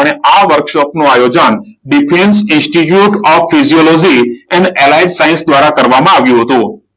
અને આ વર્કશોપનું આયોજન defence institute of physiology in allied science દ્વારા કરવામાં આવ્યું હતું.